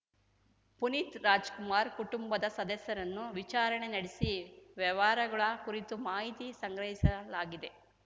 ಪುನೀತ್‌ ರಾಜ್‌ಕುಮಾರ್‌ ಕುಟುಂಬದ ಸದಸ್ಯರನ್ನು ವಿಚಾರಣೆ ನಡೆಸಿ ವ್ಯವಹಾರಗಳ ಕುರಿತು ಮಾಹಿತಿ ಸಂಗ್ರಹಿಸಲಾಗಿದೆ